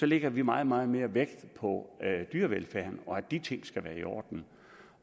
lægger vi meget meget mere vægt på dyrevelfærden og at de ting skal være i orden